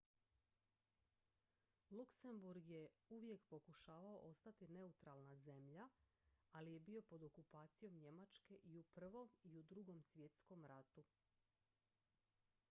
luxembourg je uvijek pokušavao ostati neutralna zemlja ali je bio pod okupacijom njemačke i u i i u ii svjetskom ratu